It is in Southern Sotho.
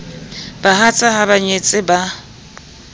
bahatsa ha ba nyetse ba